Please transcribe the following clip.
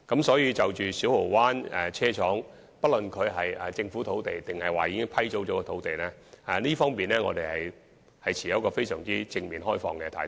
所以，就着小蠔灣車廠用地，不論是政府土地或已批租土地，我們均持有非常正面和開放的態度。